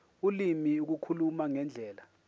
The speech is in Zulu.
ulimi ukukhuluma ngendlela